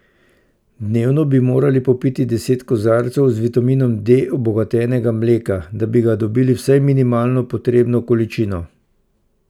Dnevno bi morali popiti deset kozarcev z vitaminom D obogatenega mleka, da bi ga dobili vsaj minimalno potrebno količino.